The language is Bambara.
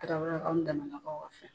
Tarawelelakaw ni Danbɛlɛlakaw ka fɛn!